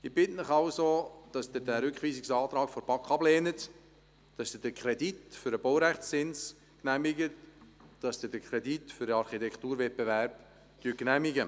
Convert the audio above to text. Ich bitte Sie also, den Rückweisungsantrag der BaK abzulehnen und den Kredit für den Baurechtszins sowie den Kredit für den Architekturwettbewerb zu genehmigen.